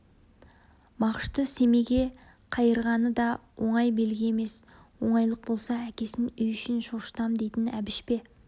мағышты семейге қайырғаны да оңай белгі емес оңайлық болса әкесін үй ішін шошытам дейтін әбіш пе